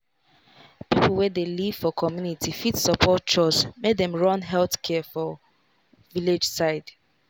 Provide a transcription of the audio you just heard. people wey dey live for community fit support chws make dem run health care work for village side.